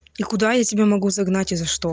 и куда я тебе могу загнать и за что